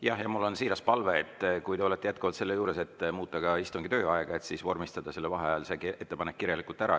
Jah, ja mul on siiras palve, et kui te olete jätkuvalt selle juures, et muuta ka istungi tööaega, vormistada vaheajal see ettepanek kirjalikult ära.